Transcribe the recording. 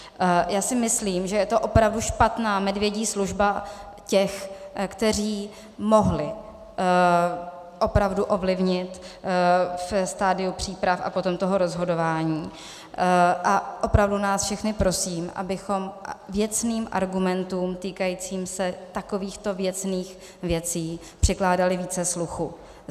Já si myslím, že je to opravdu špatná medvědí služba těch, kteří mohli opravdu ovlivnit ve stadiu příprav a potom toho rozhodování, a opravdu nás všechny prosím, abychom věcným argumentům týkajícím se takovýchto věcných věcí přikládali více sluchu.